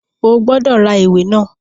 O gbọ́dọ̀ ra àwọn ìwé náà!